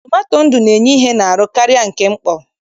Tomato ndụ na-enye ihe n'ahụ karịa nke mkpọ.